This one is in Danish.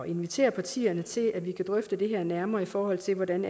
inviterer partierne til at vi kan drøfte det her nærmere i forhold til hvordan